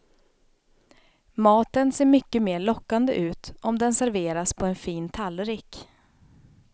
Maten ser mycket mer lockande ut om den serveras på en fin tallrik.